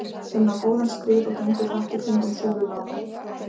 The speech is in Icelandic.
inn á góðan skrið og gengur hratt í kringum súluna og mig.